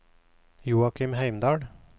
Joakim Heimdal